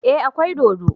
Eh akwai dodo